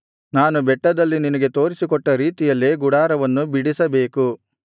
ನಾನು ಬೆಟ್ಟದಲ್ಲಿ ನಿನಗೆ ತೋರಿಸಿಕೊಟ್ಟ ರೀತಿಯಲ್ಲೇ ಗುಡಾರವನ್ನು ಬಿಡಿಸಬೇಕು